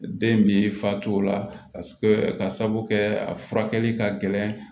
Den min fa t'o la ka sababu kɛ a furakɛli ka gɛlɛn